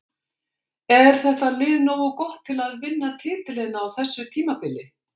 Er þetta lið nógu gott til að vinna titilinn á þessu tímabili?